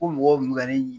Ko mɔgɔw kun bɛ ka ne ɲi